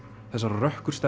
þessarar